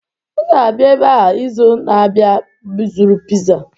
M ga-abịa ebe a izu na-abịa ịzụrụ Piza